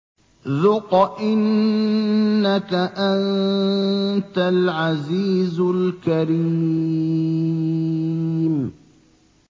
ذُقْ إِنَّكَ أَنتَ الْعَزِيزُ الْكَرِيمُ